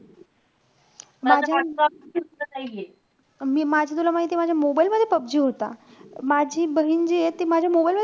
माझे मी माझे तुला माहितीय? माझ्या mobile मध्ये पबजी होता. माझी बहीण जिये ती माझ्या mobile मध्ये,